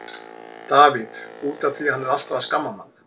Davíð: Út af því að hann er alltaf að skamma mann.